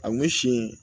A kun si